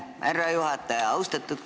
Aitäh, härra juhataja!